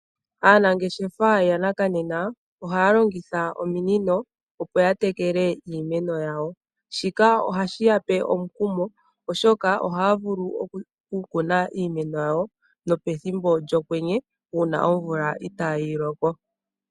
Aanangeshefa yanakanena oha ya longitha ominino opo ya tekele iimeno yawo, shika oha shi ya pe omukumo oshoka oha ya vulu oku kuna iimeno ya wo nopethimbo lyokwenye uuna omvula itaayiloko.